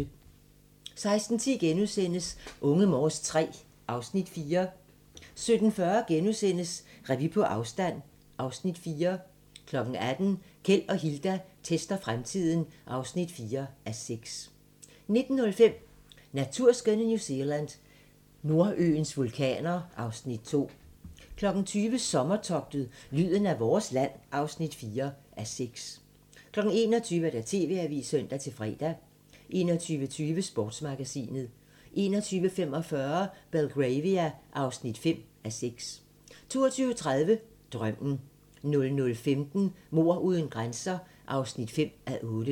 16:10: Unge Morse III (Afs. 4)* 17:40: Revy på afstand (Afs. 4)* 18:00: Keld og Hilda tester fremtiden (4:6) 19:05: Naturskønne New Zealand: Nordøens vulkaner (Afs. 2) 20:00: Sommertogtet - lyden af vores land (4:6) 21:00: TV-avisen (søn-fre) 21:20: Sportsmagasinet 21:45: Belgravia (5:6) 22:30: Drømmen 00:15: Mord uden grænser (5:8)